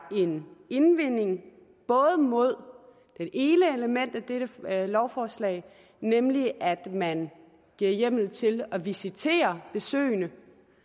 en indvending både mod det ene element i dette lovforslag nemlig at man giver hjemmel til at visitere besøgende